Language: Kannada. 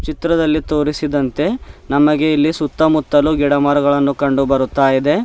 ಚಿತ್ರದಲ್ಲಿ ತೋರಿಸಿದಂತೆ ನಮಗೆ ಇಲ್ಲಿ ಸುತ್ತಮುತ್ತಲು ಗಿಡಮರಗಳನ್ನು ಕಂಡು ಬರ್ತಾ ಯಿದೆ.